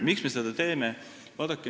Miks me seda teeme?